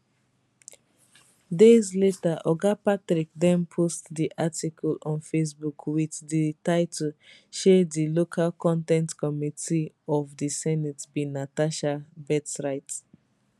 days later oga patrick den post di article on facebook wit di title shey di local con ten t committee of di senate be natasha birthright